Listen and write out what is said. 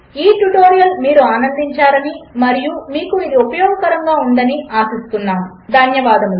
ఈ ట్యుటోరియల్ మీరు ఆనందించారని మరియు ఇది మీకు ఉపయోగకరముగా ఉందని ఆశిస్తున్నాను ధన్యవాదములు